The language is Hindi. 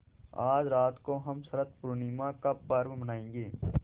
आज रात को हम शरत पूर्णिमा का पर्व मनाएँगे